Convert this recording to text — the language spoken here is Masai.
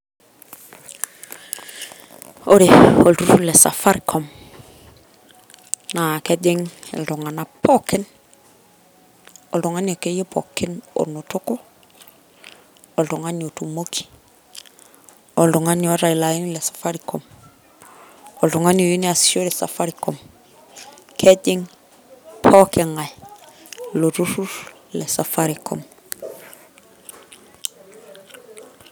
Ore olturur lesafaricom naa kejing iltunganak pookin , oltungani akeyie pookin onotok , oltungani otumoki , oltungani oota ilo aini lesafaricom ,oltungani oyieu neasishore safaricom , kejing pooki ngae iloturur lesafaricom .